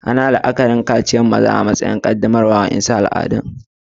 Ana yin la'akarin kaciyan yaran maza a'cikin ibadu'n qaddamarwan zuwa namiji a'wasu al'ada.